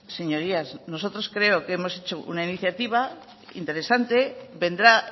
señorías nosotros creo que hemos hecho una iniciativa interesante vendrá